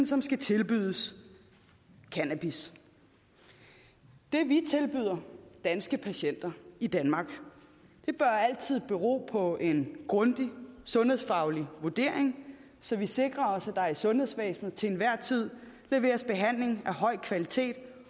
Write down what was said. som skal tilbydes cannabis det vi tilbyder danske patienter i danmark bør altid bero på en grundig sundhedsfaglig vurdering så vi sikrer os at der i sundhedsvæsenet til enhver tid leveres behandling af høj kvalitet